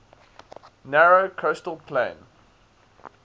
narrow coastal plain